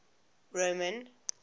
roman